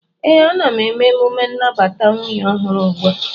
ee, ana m eme emume nnabata nwunye ọhụrụ ugbu a